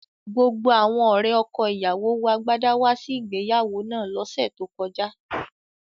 Gbogbo awọn ọ̀rẹ̀ ọkọ̀-ìyáwó wọ àgbádà wà sí ìgbèyàwó náà lòṣè tó kọjà